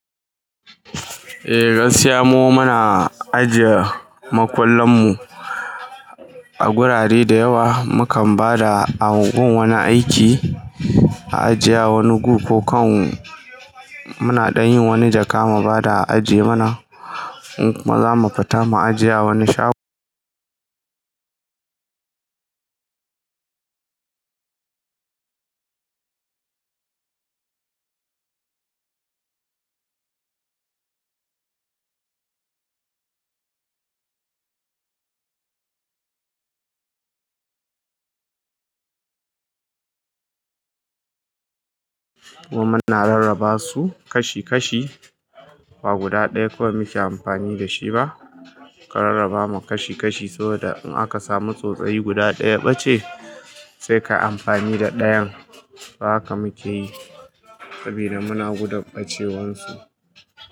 Eh, gaskiya mu muna ajiye makullan mu a gurare da yawa. Mu kan ba da a ungu wani aiki, a ajiye a wani guri ko kan muna dan yin wani jaka mu ba da ajiye mana, mu ku ma zamu fita mu ajiye a wani shagon. Mu muna rarraba su kashi kashi, ba guda ɗaya kawai muke amfani da shi ba. Ka rarraba mu kashi kashi saboda in aka samu tsotsayi guda ɗayaɓace sai ka yi amfani da ɗayan. To haka muke yi. Sabida muna gudun ɓa ce wan su.